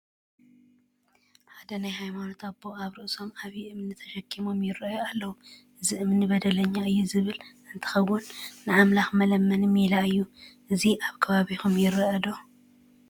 ሓደ ናይ ሃይማኖት ኣቦ ኣብ ርእሶም ዓብዪ እምኒ ተሸኪሞም ይርአዩ ኣለዉ፡፡ እዚ እምኒ በደለኛ እየ ዝብል እንትኸዉን ንኣምላኽ መለመኒ ሜላ እዩ፡፡ እዚ ኣብ ከባቢኹም ይርአ ዶ?